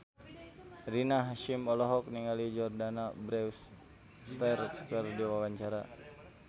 Rina Hasyim olohok ningali Jordana Brewster keur diwawancara